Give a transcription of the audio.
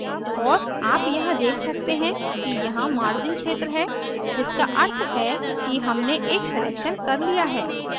और आप यहाँ देख सकते हैं कि यहाँ margins क्षेत्र है जिसका अर्थ है कि हमने एक selection कर लिया है